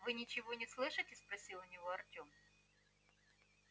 вы ничего не слышите спросил у него артём